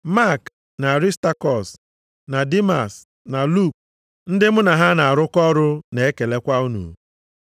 Mak, na Arịstakọs, na Dimas, na Luk, ndị mụ na ha na-arụkọ ọrụ na-ekelekwa unu.